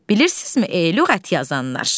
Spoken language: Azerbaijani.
Bilirsizmi, ey lüğət yazanlar?